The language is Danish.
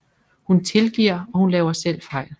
Hun tilgiver og hun laver selv fejl